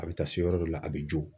A bɛ taa se yɔrɔ dɔ la a bɛ jo.